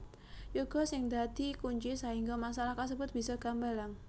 Yoga sing dadi kunci sahingga masalah kasebut bisa gambalang